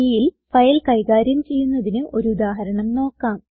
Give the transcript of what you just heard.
Cൽ file കൈകാര്യം ചെയ്യുന്നതിന് ഒരു ഉദാഹരണം നോക്കാം